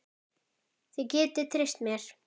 Þið getið treyst mér.